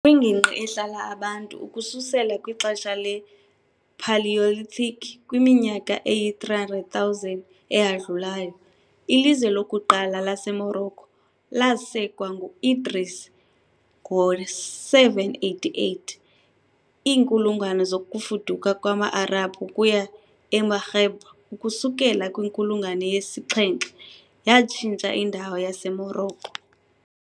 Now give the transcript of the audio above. Kwingingqi ehlala abantu ukususela kwixesha le- Paleolithic kwiminyaka eyi-300,000 eyadlulayo, ilizwe lokuqala laseMorocco lasekwa ngu -Idris I ngo-788. Iinkulungwane zokufuduka kwama-Arabhu ukuya eMaghreb ukusukela kwinkulungwane yesi-7 yatshintsha indawo yaseMorocco.